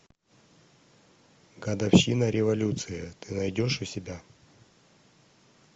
годовщина революции ты найдешь у себя